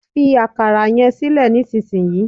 Fi akara yẹn sílẹ̀ nísinsin yìí